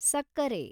ಸಕ್ಕರೆ